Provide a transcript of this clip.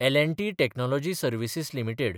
L & T technology services limited